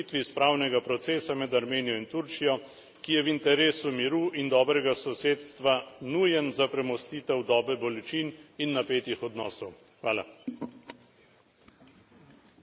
Resolucijo podpiram kot prispevek h krepitvi spravnega procesa med Armenijo in Turčijo, ki je v interesu miru in dobrega sosedstva nujen za premostitev dobe bolečin in napetih odnosov.